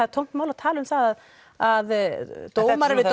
er tómt mál að tala um það að dómarar við